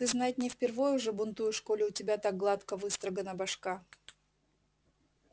ты знать не впервой уже бунтуешь коли у тебя так гладко выстрогана башка